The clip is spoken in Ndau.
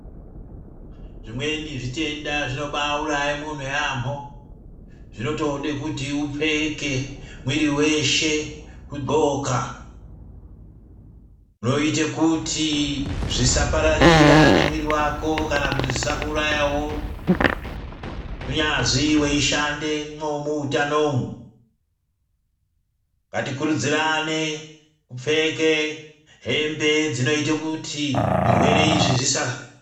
Zvimweni zvitenda zvinobaauraye munhu yaamho zvinotode kuti upfeke mwiri weshe kudxoka zvoite kuti zvisapararira nemwiri wako kana kuti zvisakuurayawo kunyazi weishandemwo muutano umwu ngatikurudzirane kupfeke hembe dzinoite kuti zvirwere izvi zvisaa.